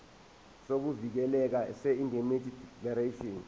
sokuvikeleka seindemnity declaration